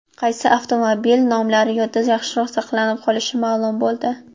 Qaysi avtomobil nomlari yodda yaxshiroq saqlanib qolishi ma’lum bo‘ldi.